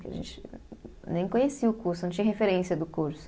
Porque a gente nem conhecia o curso, não tinha referência do curso.